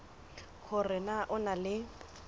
hore na o na le